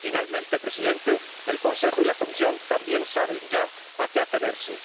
Por último, señor Presidente, el Consejo y la Comisión también saben ya a qué atenerse.